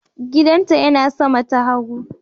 Gidanta yana sama ta hagu.